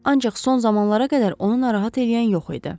Ancaq son zamanlara qədər onu narahat eləyən yox idi.